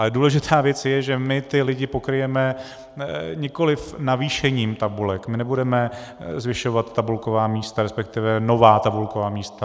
Ale důležitá věc je, že my ty lidi pokryjeme nikoliv navýšením tabulek, my nebudeme zvyšovat tabulková místa, respektive nová tabulková místa.